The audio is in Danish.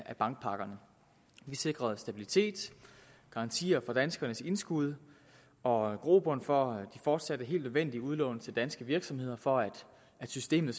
bankpakkerne vi sikrede stabilitet garantier for danskernes indskud og grobund for de fortsatte og helt nødvendige udlån til danske virksomheder for at systemet